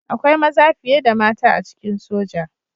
Akwai maza fiye da mata a cikin soja